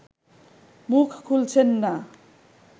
মুখ খুলছেন না